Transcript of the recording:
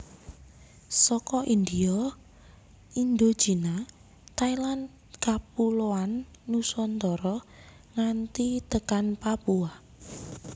Saka India Indochina Thailand Kapuloan Nusantara nganti tekan Papua